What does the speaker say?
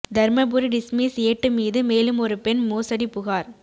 Dharmapuri dismiss ஏட்டு மீது மேலும் ஒரு பெண் மோசடி புகார்